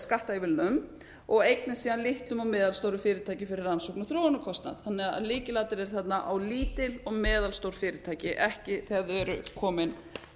skattaívilnunum og einnig svo litlum og meðalstórum fyrirtækjum fyrir rannsóknar og þróunarkostnað þannig að lykilatriðið er þarna á lítil og meðalstór fyrirtæki ekki þegar þau eru komin